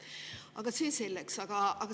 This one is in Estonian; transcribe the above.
Aga see selleks!